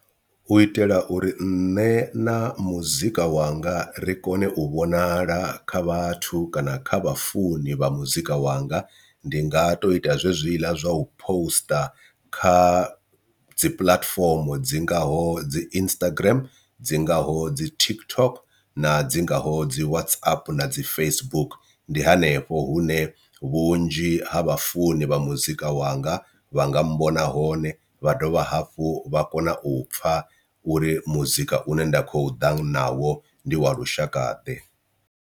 U itela uri nṋe na muzika wanga ri kone u vhonala kha vhathu kana kha vha funi vha muzika wanga ndi nga to ita zwezwila zwa u poster kha u dzi pulatifomo dzi ngaho dzi Instagram, dzi ngaho dzi TikTok na dzi ngaho dzi WhatsApp na dzi Facebook. Ndi hanefho hune vhunzhi ha ha vhafunzi vha muzika wanga vha nga mmbona hone vha dovha hafhu vha kona u pfha uri muzika u ne nda khou ḓa na wo ndi wa lushakaḓe.